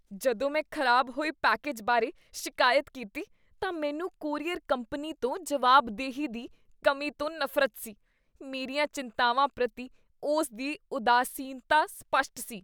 ਜਦੋਂ ਮੈਂ ਖ਼ਰਾਬ ਹੋਏ ਪੈਕੇਜ ਬਾਰੇ ਸ਼ਿਕਾਇਤ ਕੀਤੀ ਤਾਂ ਮੈਂਨੂੰ ਕੋਰੀਅਰ ਕੰਪਨੀ ਤੋਂ ਜਵਾਬਦੇਹੀ ਦੀ ਕਮੀ ਤੋਂ ਨਫ਼ਰਤ ਸੀ। ਮੇਰੀਆਂ ਚਿੰਤਾਵਾਂ ਪ੍ਰਤੀ ਉਸ ਦੀ ਉਦਾਸੀਨਤਾ ਸਪੱਸ਼ਟ ਸੀ।